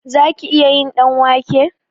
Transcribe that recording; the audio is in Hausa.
Zaki iya yin ɗanwake?